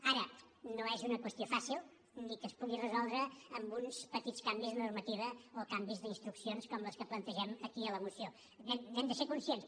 ara ni és una qüestió fàcil ni que es pugui resoldre amb uns petits canvis de normativa o canvis d’instruccions com els que plantegem aquí a la moció n’hem de ser conscients